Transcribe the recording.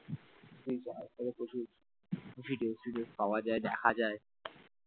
প্রচুর video ফিডিও পাওয়া যায় দেখা যায় ।